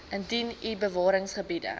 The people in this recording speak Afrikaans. indien u bewaringsgebiede